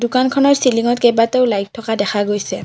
দোকানখনৰ চিলিঙত কেইবাটাও লাইট থকা দেখা গৈছে।